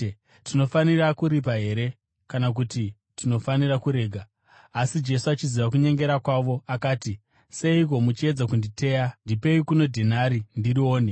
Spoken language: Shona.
Tinofanira kuripa here kana kuti tinofanira kuregera?” Asi Jesu achiziva kunyengera kwavo, akati, “Seiko muchiedza kunditeya? Ndipei kuno dhenari ndirione.”